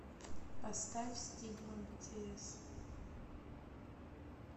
поставь стигма битиэс